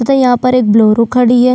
तथा यहाँ पर एक बोलेरो खड़ी है।